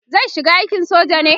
zai shiga aikin soja ne?